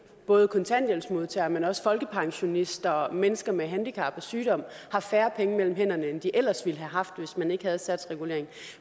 både kontanthjælpsmodtagere men også folkepensionister mennesker med handicap og sygdom har færre penge mellem hænderne end de ellers ville have haft hvis man ikke havde satsreguleringen